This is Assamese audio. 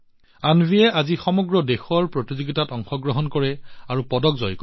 অন্বীয়ে আজি সমগ্ৰ দেশৰ প্ৰতিযোগিতাত অংশগ্ৰহণ কৰে আৰু পদক জয় কৰে